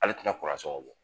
Ale tina sɔgɔn bɔ